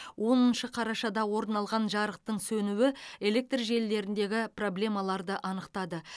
оныншы қарашада орын алған жарықтың сөнуі электр желілеріндегі проблемаларды анықтады